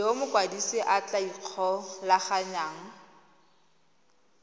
yo mokwadise a tla ikgolaganyang